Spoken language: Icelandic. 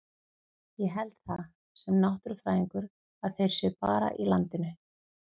Ég held það, sem náttúrufræðingur, að þeir séu bara í landinu.